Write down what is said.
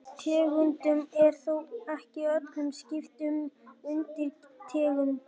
Tegundum er þó ekki öllum skipt upp í undirtegundir.